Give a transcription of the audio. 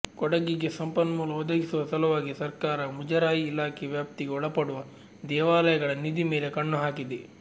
ಕೊಡಗಿಗೆ ಸಂಪನ್ಮೂಲ ಒದಗಿಸುವ ಸಲುವಾಗಿ ಸರಕಾರ ಮುಜರಾಯಿ ಇಲಾಖೆ ವ್ಯಾಪ್ತಿಗೆ ಒಳಪಡುವ ದೇವಾಲಯಗಳ ನಿಧಿ ಮೇಲೆ ಕಣ್ಣು ಹಾಕಿದೆ